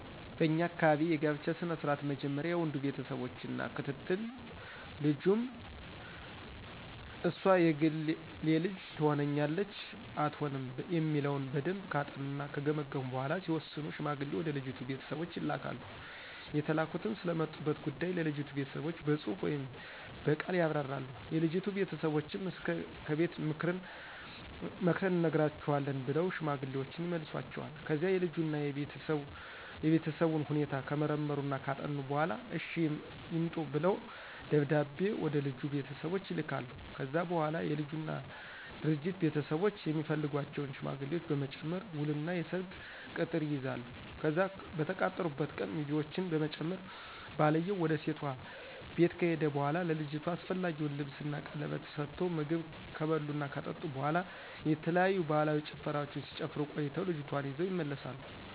በኛ አካባቢ የጋብቻ ስነ ስርዓት መጀመሪያ የወንዱ ቤተሰቦች እና ክትትል ልጁም እስር የግል ልጅ ትሆነናለች አትሆንም የሚለውን በደምብ ካጠኑና ከገመገሙ በኋላ ሲወስኑ ሽማግሌ ወደ ልጅቱ ቤተሰቦች ይልካሉ የተላኩትም ስለመጡበት ጉዳይ ለልጅቱ ቤተሰቦች በጽሁፍ ወይም ብቅል ያብራራሉ፤ የልጅቱ ቤተሰቦችም እስከ ከቤት ምክርን እንነግራቹአለን ብለው ሽማግሌወችን ይመልሷቸዋል። ከዛ የልጁን እና የቤተሰቡን ሁኔታ ከመረመሩና ካጠኑ በኋላ እሽ ይምረጡ ደብዳቤ ወደልጁ ቤተሰቦች ይልካሉ። ከዛ በኋላ የልጁና ድርጅት ቤተሰቦች የሚፈልጓቸውን ሽማግሌዎች በመጨመር ውል እና የሰርግ ቅጥር ይይዛሉ፤ ከዛ በተቃጠሩበት ቀን ሚዜውችን በመጨመር ባልየው ውድ ሴቷ ቤት ከሄደ በኋላ ለልጅቷ አስፈላጊውን ልብስን ቀለበት ስቶ ምግብ ክብር እና ከጠጡ በኋላ የተለያዩ ባህላዊ ጭፈራወችን ሲጨፍሩ ቆይተው ልጅቷን ይዘው ይመለሳሉ።